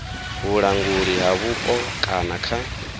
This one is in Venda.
vhulanguli ha vhupo kana kha